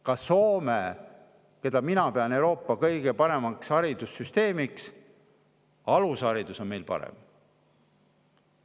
Ka Soomega võrreldes, kellel on minu arvates Euroopa kõige parem haridussüsteem, on alusharidus meil parem.